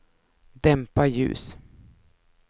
dämpa ljus